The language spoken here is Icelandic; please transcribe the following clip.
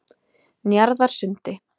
Njarðarsundi